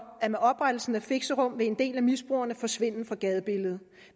at med oprettelsen af fixerum vil en del af misbrugerne forsvinde fra gadebilledet